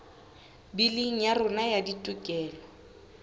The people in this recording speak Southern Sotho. biling ya rona ya ditokelo